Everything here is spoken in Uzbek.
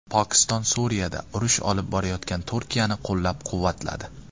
Pokiston Suriyada urush olib borayotgan Turkiyani qo‘llab-quvvatladi.